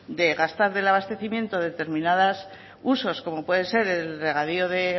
de gastar del abastecimiento de determinadas usos como puede ser el regadío o